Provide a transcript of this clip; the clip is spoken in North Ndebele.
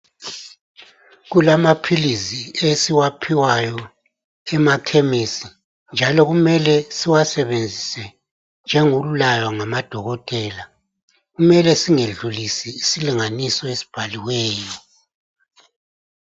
kulamaphilisi esiwaphiwayo emakhemesi njalo kumele siwasebenzise njengokulaywa ngama dokotela kumele singedlulisi isilinganiso esibhaliweyo